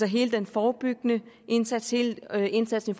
hele den forebyggende indsats hele indsatsen